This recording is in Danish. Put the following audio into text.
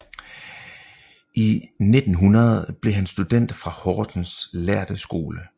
I 1900 blev han student fra Horsens Lærde Skole